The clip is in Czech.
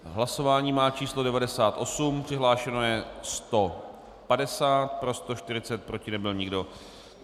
Hlasování má číslo 98, přihlášeno je 150, pro 140, proti nebyl nikdo.